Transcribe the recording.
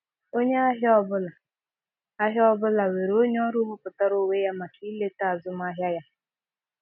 Onye ahịa ọ bụla ahịa ọ bụla nwere onye ọrụ wepụtara onwe ya maka ileta azụmahịa ya.